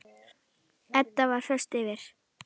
Edda var föst fyrir.